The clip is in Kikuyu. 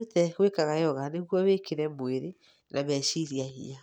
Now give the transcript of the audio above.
Wĩrute gũĩkaga yoga nĩguo wĩkĩre mwĩrĩ na meciria hinya.